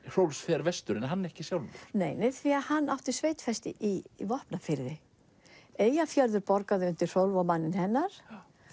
Hrólfs fer vestur en hann ekki sjálfur nei því hann átti sveitfestu í Vopnafirði Eyjafjörður borgaði undir Hrólfs og manninn hennar